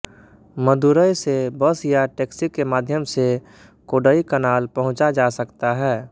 मदुरै से बस या टैक्सी के माध्यम से कोडईकनाल पहुंचा जा सकता है